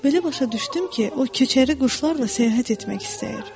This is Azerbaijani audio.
Belə başa düşdüm ki, o köçəri quşlarla səyahət etmək istəyir.